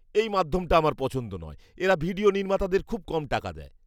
এই মাধ্যমটা আমার পছন্দ নয়। এরা ভিডিও নির্মাতাদের খুব কম টাকা দেয়।